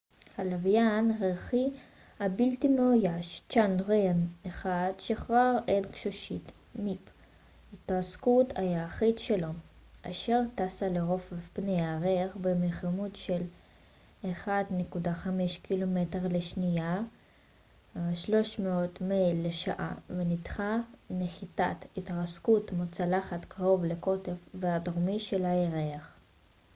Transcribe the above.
הלווין הירחי הבלתי מאויש צ'אנדריאן-1 שחרר את גשושית ההתרסקות הירחית שלו mip אשר טסה לרוחב פני הירח במהירות של 1.5 קילומטר לשנייה 3000 מייל לשעה ונחתה נחיתת התרסקות מוצלחת קרוב לקוטב הדרומי של הירח